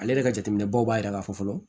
Ale yɛrɛ ka jateminɛbaw b'a yira k'a fɔ fɔlɔ